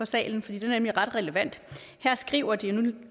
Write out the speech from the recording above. salen for den er nemlig ret relevant her skriver de og nu